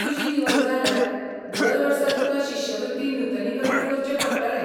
तुजी निवड जाल्यार, दर वर्सा तुका शिश्यवृत्ती नूतनीकरण करचें पडटलें.